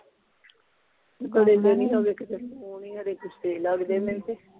ਲੱਗਦੇ ਮੈਨੂੰ ਤੇ